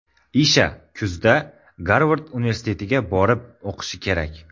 Isha kuzda Garvard universitetiga borib o‘qishi kerak.